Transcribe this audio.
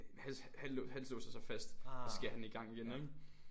Hals hals låser sig fast og så skal jeg have den i gang igen ikke?